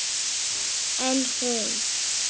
En hún.